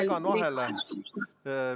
Vabandan, et ma segan vahele!